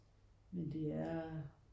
Men det er